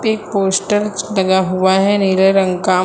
एक पोस्टर लगा हुआ है नीले रंग का।